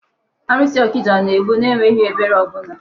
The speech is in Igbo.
Alụsị ọkịja na-egbu n'enweghị ebere ọbụla.